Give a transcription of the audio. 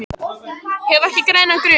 Hef ekki grænan grun.